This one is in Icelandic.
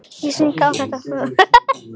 Ég sýndi þér þetta allt.